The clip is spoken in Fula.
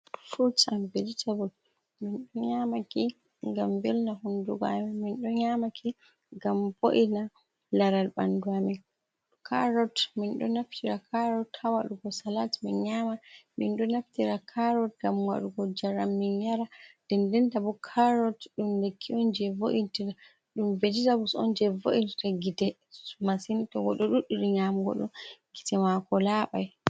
Furut an vejitabul min do nyamaki gam velna hundugo amin, mindo nyamaki gam bo’ina laral bandu amin. Karot mindo naftira karot hawadugo salat min nyama ,min do naftira karot gam wadugo jaram min yara, ɗenɗentabo karot ɗum lekki onje vo’intita dum vejitabuls onje vo’intinta gite masin to goɗɗo duɗdiri nyamugodɗum gite mako labai.